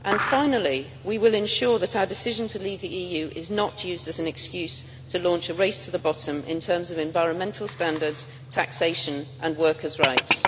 Finally, we will ensure that our decision to leave the EU is not used as an excuse to launch a race to the bottom in terms of environmental standards, taxation and workers' rights.